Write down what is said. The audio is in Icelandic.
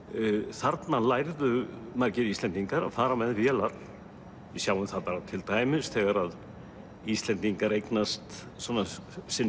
þarna lærðu margir Íslendingar að fara með vélar við sjáum það bara til dæmis þegar Íslendingar eignast sinn